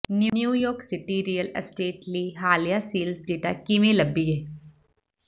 New York city real estate ਲਈ ਹਾਲੀਆ sales data ਕਿਵੇਂ ਲੱਭੀਏ